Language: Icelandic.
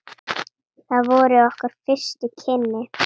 Það voru okkar fyrstu kynni.